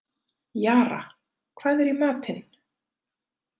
Jara, hvað er í matinn?